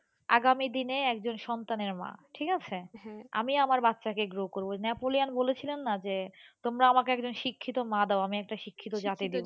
আগামীদিনে একজন সন্তানের মা ঠিক আছে, আমি আমার বাচ্চাকে grow করবো। নেপোলিয়ন বলেছিলেন না যে তোমরা আমাকে একজন শিক্ষিত মা দাও আমি একটা শিক্ষিত জাতি দেবো,